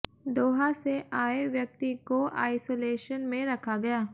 दोहा से आए व्यक्ति को आइसोलेशन में रखा गया